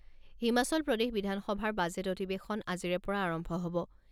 হিমাচল প্ৰদেশ বিধানসভাৰ বাজেট অধিৱেশন আজিৰে পৰা আৰম্ভ হ'ব।